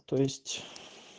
то есть